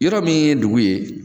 Yɔrɔ min ye dugu ye